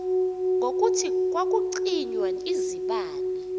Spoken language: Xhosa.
ngokuthi kwakucinywa izibane